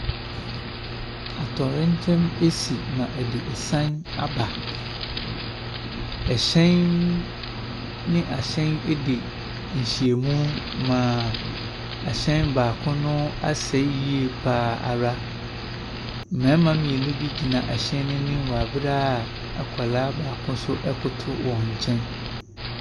Atoyerɛnkyɛm asi ma ɛde esan aba. Ɛhyɛn ne ɛhyɛn dii ahyem ma ɛhyɛn baako asɛe koraa. Mmarima mmienu bi gyina ɛhyɛn no anim wɔ abere a akwaraa baako nso koto wɔn nkyɛn. Na ɛhyɛn bi nso ɛresen wɔ lɔɔre kwan no so.